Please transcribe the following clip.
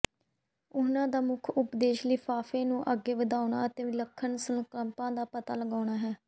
ਉਹਨਾਂ ਦਾ ਮੁੱਖ ਉਦੇਸ਼ ਲਿਫਾਫੇ ਨੂੰ ਅੱਗੇ ਵਧਾਉਣਾ ਅਤੇ ਵਿਲੱਖਣ ਸੰਕਲਪਾਂ ਦਾ ਪਤਾ ਲਗਾਉਣਾ ਹੈ